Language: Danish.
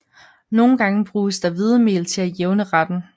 Nogle gange bruges der hvedemel til at jævne retten